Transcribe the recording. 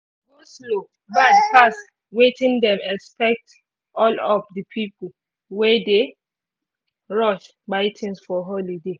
go-slow bad pass wetin them expect all of the pipu wey dey rush buy things for holiday